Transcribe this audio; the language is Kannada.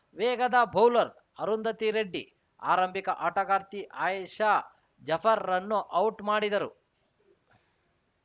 ವೇಗದ ಬೌಲರ್‌ ಅರುಂಧತಿ ರೆಡ್ಡಿ ಆರಂಭಿಕ ಆಟಗಾರ್ತಿ ಅಯೇಷಾ ಜಫರ್‌ರನ್ನು ಔಟ್‌ ಮಾಡಿದರು